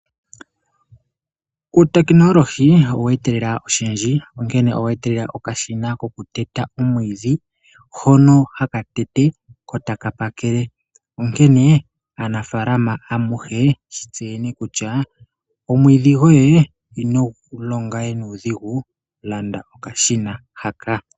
Uutekinolohi owe etelela oshindji. Onkene owe etelela okashina koku teta omwiidhi, hono haka tete etaka pakele. Onkene aanafalama amuhe shi tseyeni kutya omwiidhi goye inogu longa we nuudhingu landa okashina haka.